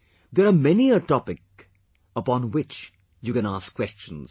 There are many a topics upon which you can ask questions